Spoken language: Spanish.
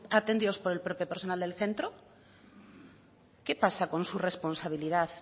atendidos por el propio personal del centro qué pasa con su responsabilidad